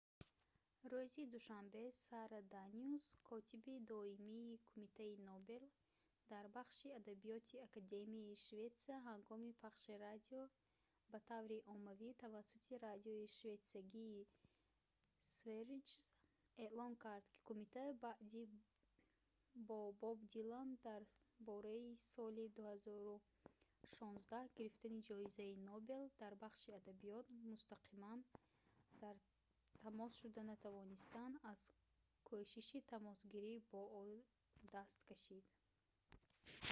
рӯзи душанбе сара даниус котиби доимии кумитаи нобел дар бахши адабиёти академияи шветсия ҳангоми пахши радио ба таври оммавӣ тавассути радиои шветсиягии sveriges эълон кард ки кумита баъди бо боб дилан дар бораи соли 2016 гирифтани ҷоизаи нобел дар бахши адабиёт мустақиман дар тамос шуда натавонистан аз кӯшиши тамосгирӣ бо ӯ даст кашид